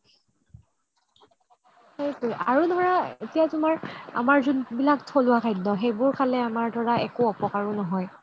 আৰু ধৰা এতিয়া তুমাৰ আমাৰ যোনবিলাক থলুৱা খাদ্য সেইবোৰ খালে আমাৰ ধৰা একো অপকাৰও নহয়